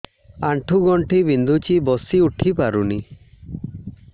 ଆଣ୍ଠୁ ଗଣ୍ଠି ବିନ୍ଧୁଛି ବସିଉଠି ପାରୁନି